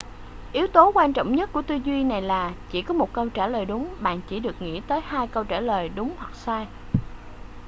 yếu tố quan trọng nhất của tư duy này là chỉ có một câu trả lời đúng bạn chỉ được nghĩ tới hai câu trả lời đúng hoặc sai